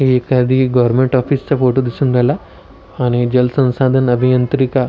एखादी government office चा photo दिसुन राहिला आणि जल संसाधन अभियंत्रीका--